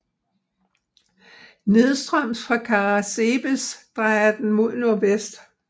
Nedstrøms fra Caransebeș drejer den mod nordvest